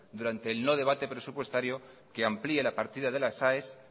durante el no debate presupuestario que amplíe la partida de las aes